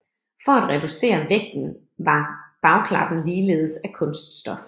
For at reducere vægten var bagklappen ligeledes af kunststof